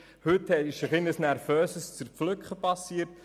Heute ist es zu einem nervösen Zerpflücken gekommen.